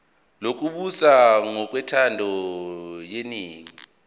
lokubusa ngokwentando yeningi